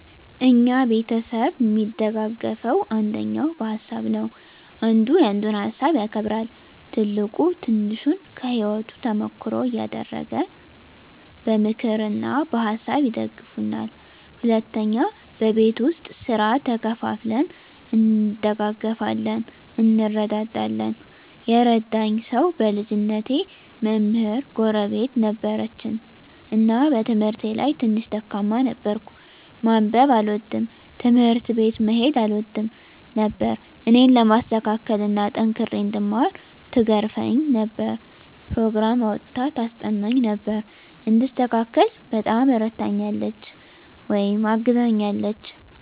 እኛ ቤተሰብ እሚደጋገፈዉ አንደኛ በሀሳብ ነዉ። አንዱ ያንዱን ሀሳብ ያከብራል፣ ትልቁ ትንሹን ከህይወቱ ተሞክሮ እያደረገ በምክር እና በሀሳብ ይደግፉናል። ሁለተኛ በቤት ዉስጥ ስራ ተከፋፍለን እንደጋገፋለን (እንረዳዳለን) ። የረዳኝ ሰዉ በልጅነቴ መምህር ጎረቤት ነበረችን እና በትምህርቴ ላይ ትንሽ ደካማ ነበርኩ፤ ማንበብ አልወድም፣ ትምህርት ቤት መሄድ አልወድም ነበር እኔን ለማስተካከል እና ጠንክሬ እንድማር ትገርፈኝ ነበር፣ ኘሮግራም አዉጥታ ታስጠናኝ ነበር፣ እንድስተካከል በጣም እረድታኛለች(አግዛኛለች) ።